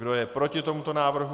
Kdo je proti tomuto návrhu?